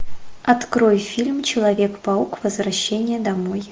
открой фильм человек паук возвращение домой